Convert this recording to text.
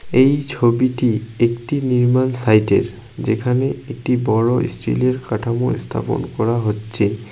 এই ছবিটি একটি নির্মাণ সাইট -এর যেখানে একটি বড়ো স্টিল -এর কাঠামো স্থাপন করা হচ্ছে ।